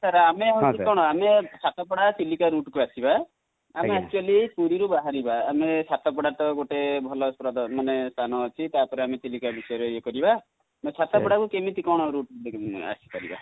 sir ଆମେ ହଉଛି କଣ, ଆମେ ସାତପଡ଼ା ଚିଲିକା route କୁ ଆସିବା, ଆମେ actually ପୁରୀ ରୁ ବାହାରିବା ସାତପଡ଼ା ଟା ଗୋଟେ ଭଲ ପ୍ରଦ ମାନେ ସ୍ଥାନ ଅଛି ତାପରେ ଆମେ ଚିଲିକା ବିଷୟ ରେ ଆମେ ୟେ କରିବା ନ ସାତପଡ଼ା କୁ କେମିତି କଣ route ନେଇକି ଆସିପାରିବ ?